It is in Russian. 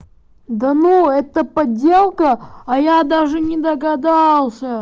да ну это подделка а я даже не догадался